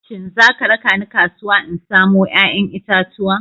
Shin za ka raka ni kasuwa in samo 'ya'yan itatuwa?